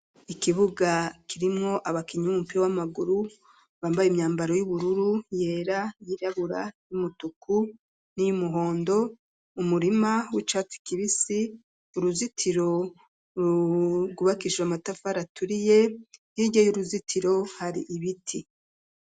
Ikibuga kirimwo abakinyi b'umupira w'amaguru, bambaye imyambaro y'ubururu, yera, yirabura, y'umutuku, n'iy'umuhondo, umurima w'icatsi kibisi, uruzitiro rwugubakishijwe amatafari aturiye, hirya y'uruzitiro hari ibiti.